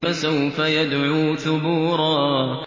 فَسَوْفَ يَدْعُو ثُبُورًا